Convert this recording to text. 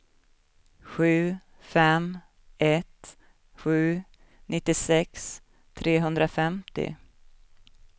sju fem ett sju nittiosex trehundrafemtio